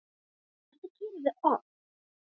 Þetta gerum við oft.